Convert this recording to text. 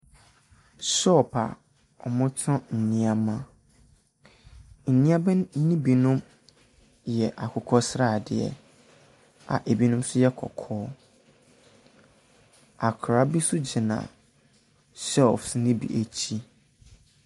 Hyɔp a ɔmmu ɛtɔn nneɛma. Nneɛma ne bi nom yɛ akokɔ sradeɛ a ebi nom so yɛ kɔkɔɔ. Akra bi so gyina hyɛlfs no bi akyi.